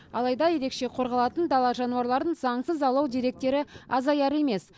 алайда ерекше қорғалатын дала жануарларын заңсыз аулау деректері азаяр емес